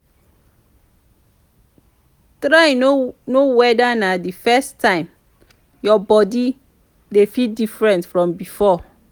try no weda na di first time yur body dey feel diffrent from bifor